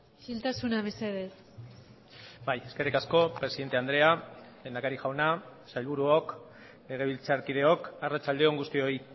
isiltasuna mesedez bai eskerrik asko presidente andrea lehendakari jauna sailburuok legebiltzarkideok arratsalde on guztioi